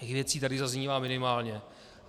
Těch věcí tady zaznívá minimálně.